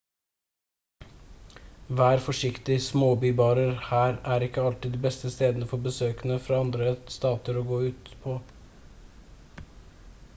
vær forsiktig småbybarer her er ikke alltid de beste stedene for besøkende fra andre stater å gå ut på